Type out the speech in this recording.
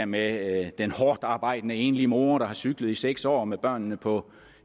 med den hårdtarbejdende enlige mor der har cyklet i seks år år med børnene på